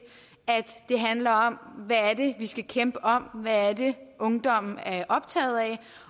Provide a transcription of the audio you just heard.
det handler om hvad det vi skal kæmpe om hvad det er ungdommen er optaget af